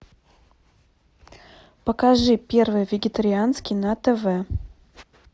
покажи первый вегетарианский на тв